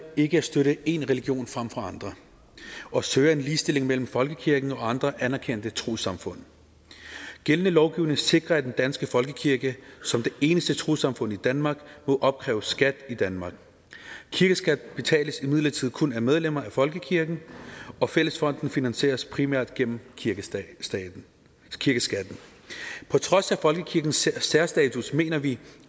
ikke at støtte én religion frem for andre og søger en ligestilling mellem folkekirken og andre anerkendte trossamfund gældende lovgivning sikrer at den danske folkekirke som det eneste trossamfund i danmark må opkræve skat i danmark kirkeskat betales imidlertid kun af medlemmer af folkekirken og fællesfonden finansieres primært gennem kirkeskatten kirkeskatten på trods af folkekirkens særstatus mener vi